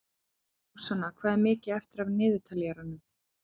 Súsanna, hvað er mikið eftir af niðurteljaranum?